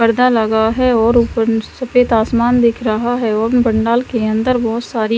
पर्दा लगा है और ऊपर सफेद आसमान दिख रहा है एवं पंडाल के अंदर बहोत सारी--